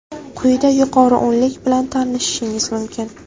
Quyida yuqori o‘nlik bilan tanishishingiz mumkin.